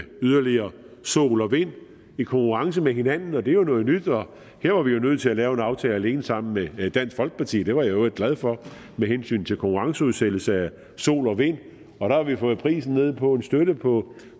yderligere sol og vind i konkurrence med hinanden og det er noget nyt her var vi jo nødt til at lave en aftale alene sammen med dansk folkeparti det var jeg i øvrigt glad for med hensyn til konkurrenceudsættelse af sol og vind og der har vi fået prisen ned på en støtte på